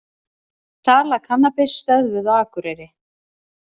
Sala kannabis stöðvuð á Akureyri